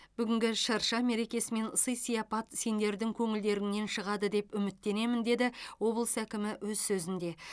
бүгінгі шырша мерекесі мен сый сияпат сендердің көңілдеріңнен шығады деп үміттенемін деді облыс әкімі өз сөзінде